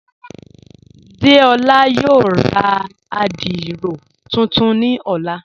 Déọla yóò rá àdírò tuntun ni ọ̀lá..